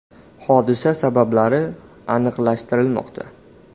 Hodisa sabablari aniqlashtirilmoqda.